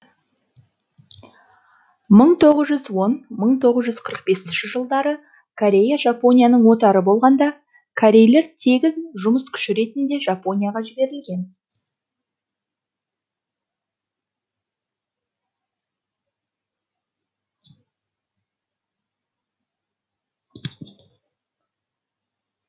мң тоғыз жүз он мың тоғыз жүз қырық бесінші жылдары корея жапонияның отары болғанда корейлер тегін жұмыс күші ретінде жапонияға жіберілген